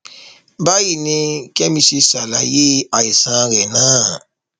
báyìí ni kẹmi ṣe ṣàlàyé àìsàn rẹ náà